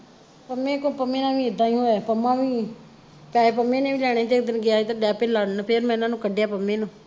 ਪੰਮੇ ਕੋਲ, ਪੰਮੇ ਨਾਲ ਵੀ ਏਦਾਂ ਹੀ ਹੋਇਆ ਸੀ ਪੰਮਾ ਵੀ, ਪੈਸੇ ਪੰਮੇ ਨੇ ਵੀ ਲੈਣੇ ਸੀ ਤੇ ਓਦਣ ਗਿਆ ਸੀ ਤੇ ਡੈ ਪੈ ਲੜਨ ਫਿਰ ਮੈਂ ਇਹਨਾਂ ਨੂੰ ਕੱਢਿਆ ਪੰਮੇ ਨੂੰ,